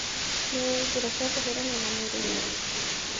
Nĩũĩ njĩra cia kũhũrana na mĩrimũ.